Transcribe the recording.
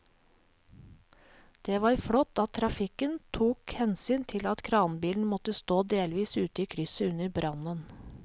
Det var flott at trafikken tok hensyn til at kranbilen måtte stå delvis ute i krysset under brannen.